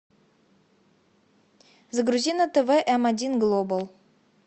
загрузи на тв м один глобал